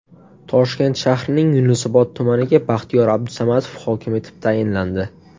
Toshkent shahrining Yunusobod tumaniga Baxtiyor Abdusamatov hokim etib tayinlandi.